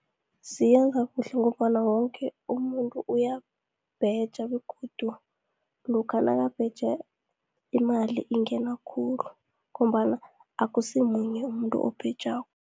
Siyenza kuhle ngombana woke umuntu uyabheja begodu lokha nakabheja, imali ingena khulu ngombana akusimunye umuntu obhejako.